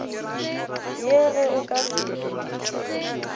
ye ge o ka se